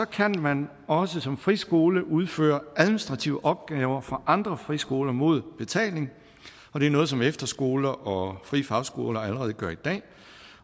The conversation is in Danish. kan man også som en friskole udføre administrative opgaver for andre friskoler mod betaling det er noget som efterskoler og frie fagskoler allerede gør i dag